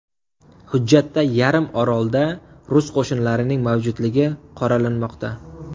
Hujjatda yarim orolda rus qo‘shinlarining mavjudligi qoralanmoqda.